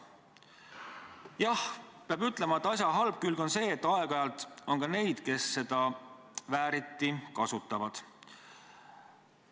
Jah, peab ütlema, et asja halb külg on see, et aeg-ajalt on ka neid, kes seda vääriti kasutavad.